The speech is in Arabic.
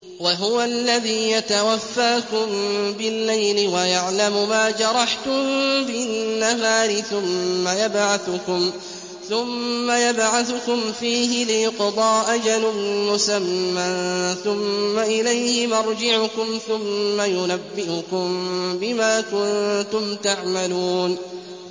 وَهُوَ الَّذِي يَتَوَفَّاكُم بِاللَّيْلِ وَيَعْلَمُ مَا جَرَحْتُم بِالنَّهَارِ ثُمَّ يَبْعَثُكُمْ فِيهِ لِيُقْضَىٰ أَجَلٌ مُّسَمًّى ۖ ثُمَّ إِلَيْهِ مَرْجِعُكُمْ ثُمَّ يُنَبِّئُكُم بِمَا كُنتُمْ تَعْمَلُونَ